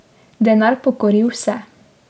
Denar pokori vse.